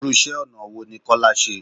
Irú iṣẹ́ ọ̀nà wo ní Kọ́lá ṣe?